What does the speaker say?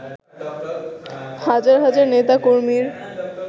হাজার হাজার নেতাকর্মীর